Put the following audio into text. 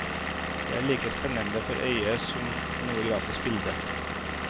De er like spennende for øyet som noe grafisk bilde.